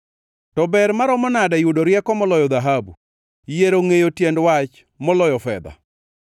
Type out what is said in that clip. To ber maromo nade yudo rieko moloyo dhahabu, yiero ngʼeyo tiend wach moloyo fedha!